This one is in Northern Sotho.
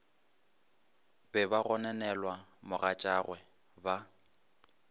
be ba gononela mogatšagwe ba